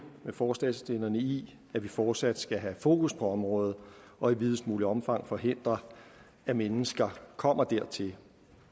med forslagsstillerne i at vi fortsat skal have fokus på området og i videst muligt omfang forhindre at mennesker kommer dertil